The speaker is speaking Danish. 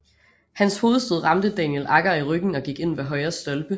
Hans hovedstød ramte Daniel Agger i ryggen og gik ind ved højre stolpe